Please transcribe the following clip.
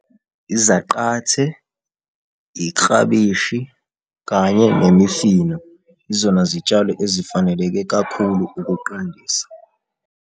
Izaqathe, iklabishi kanye nemifino, izona zitshalo ezifaneleke kakhulu ukuqandisa.